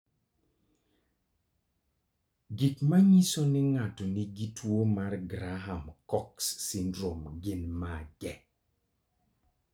Gik manyiso ni ng'ato nigi tuwo mar Graham Cox syndrome gin mage?